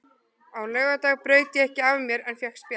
Á laugardag braut ég ekki af mér en fékk spjald.